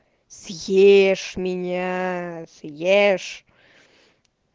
съешь меня съешь